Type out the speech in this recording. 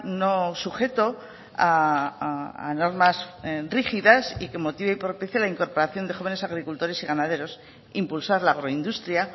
no sujeto a normas rígidas y que motive y propicie la incorporación de jóvenes agricultores y ganaderos e impulsar la agroindustria